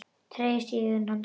Tregi sest í augu hans.